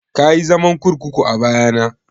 Kayi zaman kurkuku a baya na?